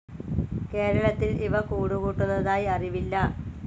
കേരളത്തിൽ ഇവ കൂടുകൂട്ടുന്നതായി അറിവില്ല.